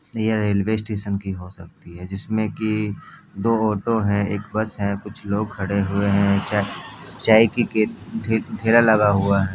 यह railway station भी हो सकता है जिसमें की एक-दो ओटो हैं एक बस है कुछ लोग खड़े हैं चाय की केप ठेला लगा हुआ है।